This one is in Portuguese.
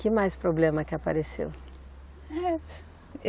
Que mais problema que apareceu?